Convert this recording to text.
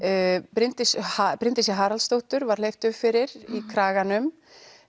Bryndísi Bryndísi Haraldsdóttur var hleypt upp fyrir í Kraganum